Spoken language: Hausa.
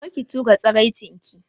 Kar ki tura tsiraicin ki.